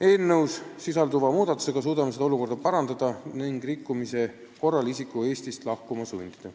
Eelnõus sisalduva muudatusega suudame seda olukorda parandada ning rikkumise korral isiku Eestist lahkuma sundida.